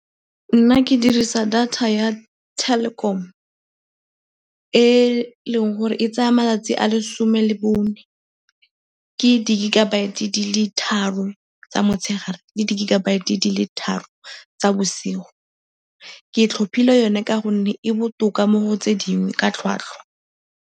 Nna ke dirisa data ya Telkom e e leng gore e tsaya malatsi a lesome le bone. Ke di-gigabyte di le tharo tsa motshegare le di-gigabyte di le tharo tsa bosigo. Ke tlhophile yone ka gonne e botoka mo go tse dingwe ka tlhwatlhwa.